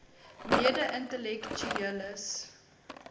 mede intellek tueles